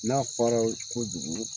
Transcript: N'a fariyala kojugu